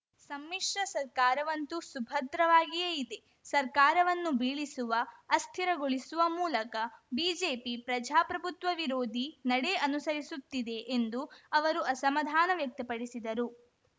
ಸಮ್ಮಿಶ್ರ ಸರ್ಕಾರವಂತೂ ಸುಭದ್ರವಾಗಿಯೇ ಇದೆ ಸರ್ಕಾರವನ್ನು ಬೀಳಿಸುವ ಅಸ್ಥಿರಗೊಳಿಸುವ ಮೂಲಕ ಬಿಜೆಪಿ ಪ್ರಜಾಪ್ರಭುತ್ವ ವಿರೋಧಿ ನಡೆ ಅನುಸರಿಸುತ್ತಿದೆ ಎಂದು ಅವರು ಅಸಮಾಧಾನ ವ್ಯಕ್ತಪಡಿಸಿದರು